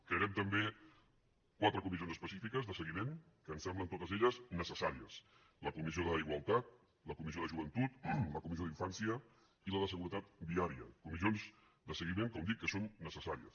crearem també quatre comissions específiques de seguiment que ens semblen totes elles necessàries la comissió d’igualtat la comissió de joventut la comissió d’infància i la de seguretat viària comissions de seguiment com dic que són necessàries